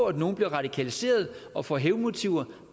at nogle bliver radikaliseret og får hævnmotiver